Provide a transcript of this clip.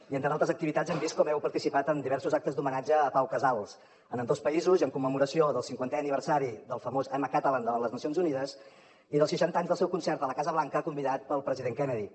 i entre altres activitats hem vist com heu participat en diversos actes d’homenatge a pau casals en ambdós països en commemoració del cinquantè aniversari del famós i’m a catalan de les nacions unides i dels seixanta anys del seu concert a la casa blanca convidat pel president kennedy